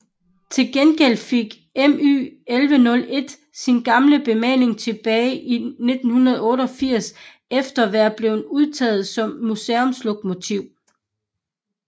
Til gengæld fik MY 1101 sin gamle bemaling tilbage i 1988 efter at være blevet udtaget som museumslokomotiv